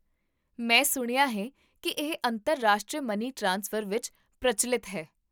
ਮੈਂ ਸੁਣਿਆ ਹੈ ਕਿ ਇਹ ਅੰਤਰਰਾਸ਼ਟਰੀ ਮਨੀ ਟ੍ਰਾਂਸਫਰ ਵਿੱਚ ਪ੍ਰਚੱਲਿਤ ਹੈ